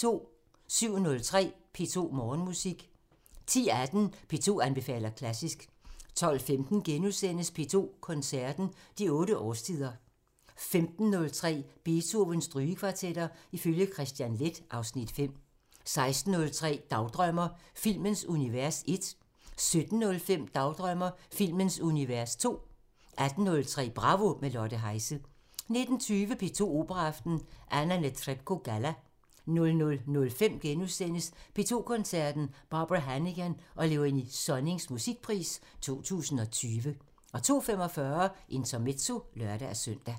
07:03: P2 Morgenmusik 10:18: P2 anbefaler klassisk 12:15: P2 Koncerten – De otte årstider * 15:03: Beethovens Strygekvartetter ifølge Kristian Leth (Afs. 5) 16:03: Dagdrømmer: Filmens univers 1 17:05: Dagdrømmer: Filmens univers 2 18:03: Bravo – med Lotte Heise 19:20: P2 Operaaften – Anna Netrebko Galla 00:05: P2 Koncerten – Barbara Hannigan og Léonie Sonnings Musikpris 2020 * 02:45: Intermezzo (lør-søn)